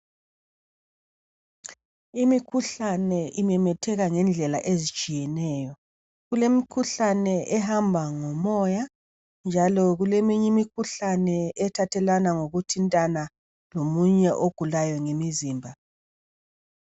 Imikhuhlane imemetheka ngendlela ezitshiyeneyo, kulemikhuhlane ehamba ngomoya njalo kuleminye imikhuhlane ethathelana ngokuthintana lomunye ogulayo ngemizimba.